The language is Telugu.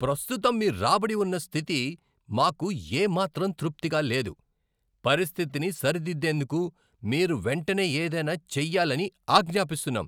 ప్రస్తుతం మీ రాబడి ఉన్న స్థితి మాకు ఏ మాత్రం తృప్తిగా లేదు, పరిస్థితిని సరిదిద్దేందుకు మీరు వెంటనే ఏదైనా చెయ్యాలని ఆజ్ఞాపిస్తున్నాం.